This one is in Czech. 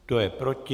Kdo je proti?